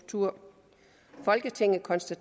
to